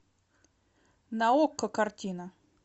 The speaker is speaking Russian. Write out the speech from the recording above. на окко картина